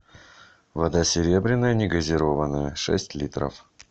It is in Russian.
вода серебряная негазированная шесть литров